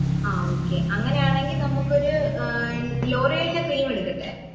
ആ okay അങ്ങനെയാണെങ്കിൽ നമ്മക്ക് ഒരൂ ലോറിയലിന്റെ cream എടുക്കട്ടേ